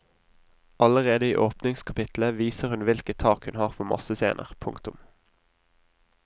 Allerede i åpningskapitlet viser hun hvilket tak hun har på massescener. punktum